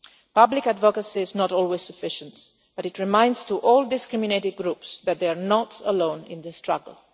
Public advocacy is not always sufficient, but it reminds all these community groups that they are not alone in this struggle.